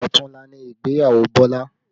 Ọ̀tunla ni ìgbéyàwó Bọlá